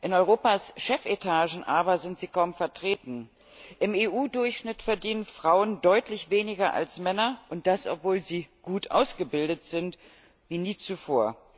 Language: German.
In Europas Chefetagen aber sind sie kaum vertreten. Im EU Durchschnitt verdienen Frauen deutlich weniger als Männer, und das obwohl sie gut ausgebildet sind wie nie zuvor.